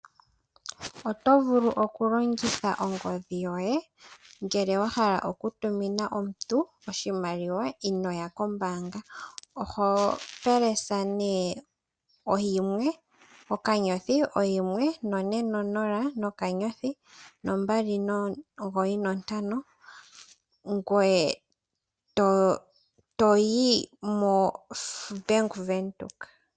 Oto vulu oku longitha ongodhi yoye ngele wa hala oku tumina omuntu oshimaliwa inoya kombanga. Oho pelesa ne *140*295# pamukalo goku longitha obank windhoek.